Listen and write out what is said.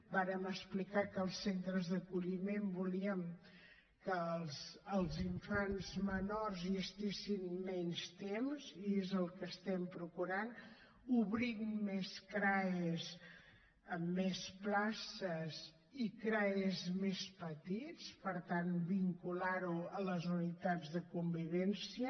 vàrem explicar que als centres d’acolliment volíem que els infants menors hi estiguessin menys temps i és el que estem procurant obrint més crae amb més places i crae més petits per tant vincular ho a les unitats de convivència